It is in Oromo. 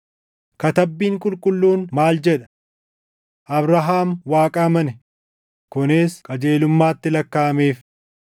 Katabbiin Qulqulluun maal jedha? “Abrahaam Waaqa amane; kunis qajeelummaatti lakkaaʼameef.” + 4:3 \+xt Uma 15:6\+xt*